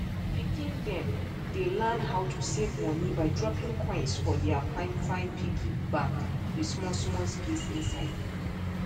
pikin dem dey learn how to save money by dropping coins for their finefine piggy bank with smallsmall space inside